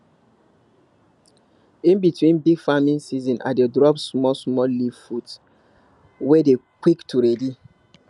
in between big farming season i dey drop smallsmall leaf food wey dey quick to ready